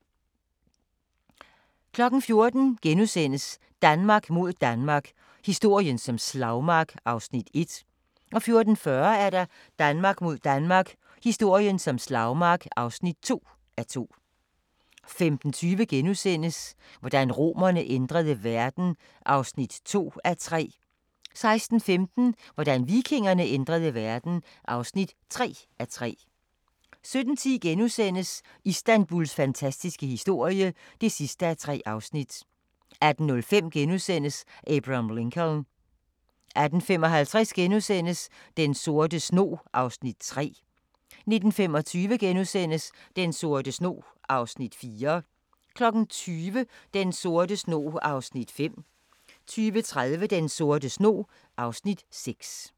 14:00: Danmark mod Danmark – historien som slagmark (1:2)* 14:40: Danmark mod Danmark – historien som slagmark (2:2) 15:20: Hvordan romerne ændrede verden (2:3)* 16:15: Hvordan vikingerne ændrede verden (3:3) 17:10: Istanbuls fantastiske historie (3:3)* 18:05: Abraham Lincoln * 18:55: Den sorte snog (Afs. 3)* 19:25: Den sorte snog (Afs. 4)* 20:00: Den sorte snog (Afs. 5) 20:30: Den sorte snog (Afs. 6)